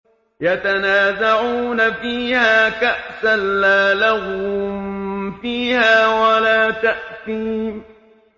يَتَنَازَعُونَ فِيهَا كَأْسًا لَّا لَغْوٌ فِيهَا وَلَا تَأْثِيمٌ